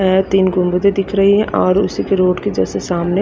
वेह तीन गुम्बदें दिख रही हैं और उसीके रोड के जैसे सामने--